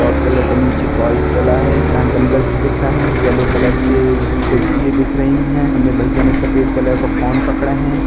Red colour का नीचे डला है। यहाँ डंबल्स दिख रहे हैं। येल्लो कलर के कुर्सियें दिख रही हैं। इनने भैया ने सफ़ेद कलर को फोन पकड़े हैं।